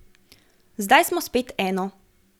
Zdaj smo spet eno.